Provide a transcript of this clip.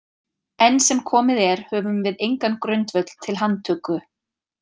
Enn sem komið er höfum við engan grundvöll til handtöku.